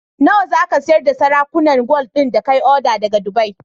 Nawa zaka siyar da sarakunan gwal din da kayi order daka dubai?